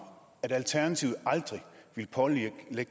at alternativet aldrig vil pålægge